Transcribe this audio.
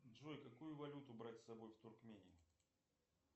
джой какую валюту брать с собой в туркмению